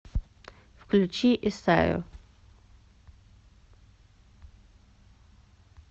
включи исайю